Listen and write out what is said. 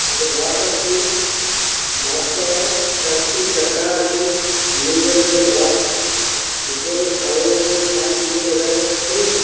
একটা বাস আছে । বাস টার চারটে চাকা আছে। নীল রঙের বাস উপরে কালো রঙের কাচ গুলো দেখা যাচ্ছে।